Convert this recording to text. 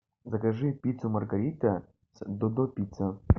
закажи пиццу маргарита с додо пицца